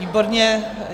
Výborně.